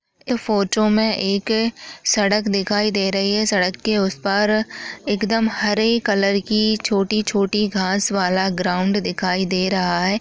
इस फोटो में एक सड़क दिखाई दे रही है सड़क के उस पार एकदम हरे कलर की छोटी छोटी घास वाला ग्राउंड दिखाई दे रहा है।